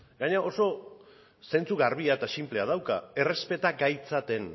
gainera oso zentzu garbia eta sinplea dauka errespeta gaitzaten